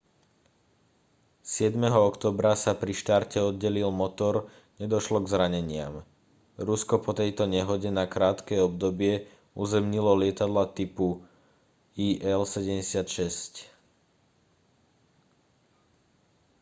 7. októbra sa pri štarte oddelil motor nedošlo k zraneniam rusko po tejto nehode na krátke obdobie uzemnilo lietadlá typu il-76